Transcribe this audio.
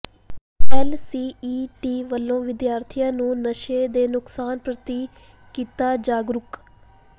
L C E T ਵਲੋਂ ਵਿਦਿਆਰਥੀਆਂ ਨੂੰ ਨਸ਼ੇ ਦੇ ਨੁਕਸਾਨ ਪ੍ਰਤੀ ਕੀਤਾ ਜਾਗਰੂਕ